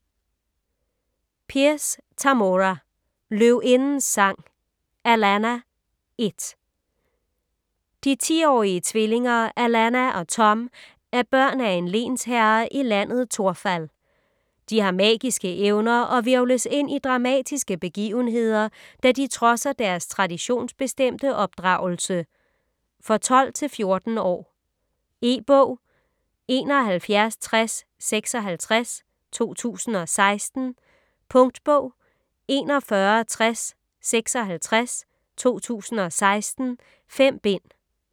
Pierce, Tamora: Løvindens sang: Alanna: 1 De 10-årige tvillinger Alanna og Thom er børn af en lensherre i Landet Torfall. De har magiske evner og hvirvles ind i dramatiske begivenheder, da de trodser deres traditions-bestemte opdragelse. For 12-14 år. E-bog 716056 2016. Punktbog 416056 2016. 5 bind.